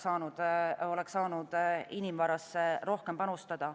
Absoluutselt oleks saanud inimvarasse rohkem panustada.